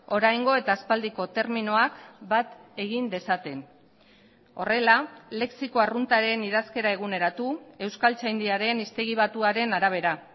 oraingo eta aspaldiko terminoak bat egin dezaten horrela lexiko arruntaren idazkera eguneratu euskaltzaindiaren hiztegi batuaren arabera